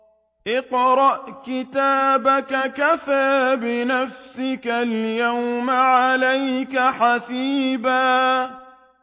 اقْرَأْ كِتَابَكَ كَفَىٰ بِنَفْسِكَ الْيَوْمَ عَلَيْكَ حَسِيبًا